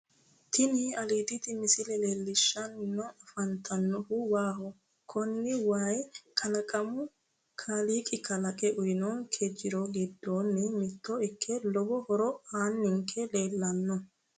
Tini aliiditi misile leellishshanni afantannohu waaho kuni wayi kalaqamunni kaaliiqi kalaqe uyinonke jiro giddonni mitto ikke lowo horo aanninke leellanno